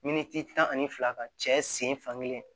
Miniti tan ani fila ka cɛ sen fa kelen